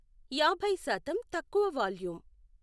యాభై శాతం తక్కువ వాల్యూమ్